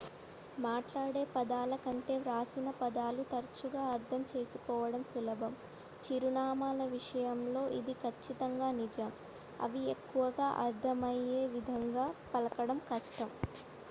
మాట్లాడే పదాల కంటే వ్రాసిన పదాలు తరచుగా అర్థం చేసుకోవడం సులభం చిరునామాల విషయంలో ఇది ఖచ్చితంగా నిజం అవి ఎక్కువగా అర్థమయ్యేవిధంగా పలకడం కష్టం